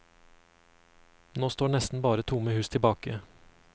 Nå står nesten bare tomme hus tilbake.